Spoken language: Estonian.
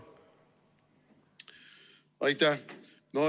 Aitäh!